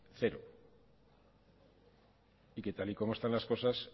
cero y que tal y como están las cosas